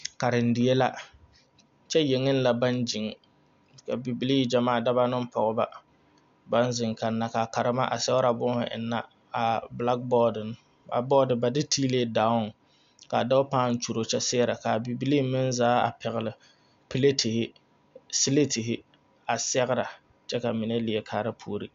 Karendie la kyɛ yeŋeŋ baŋ gyeŋ ka bibilii gyamaa daba ne pɔgeba baŋ zeŋ kanna ka a karema a sɛgrɛ boma enna a bilaaboodiŋ a boodi ba de tiili daoŋ ka dɔɔ pãã kyuri kyɛ sɛgrɛ ka bibilii meŋ zaa a pɛgle pelaatihi seleetihi a sɛgrɛ kyɛ ka mine leɛ kaara puori.